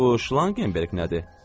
Bu Şlangenberx nədir?